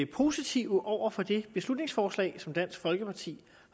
positive over for det beslutningsforslag som dansk folkeparti